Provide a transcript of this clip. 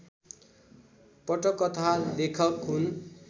पटकथा लेखक हुन्